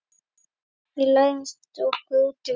Við læstum okkur úti við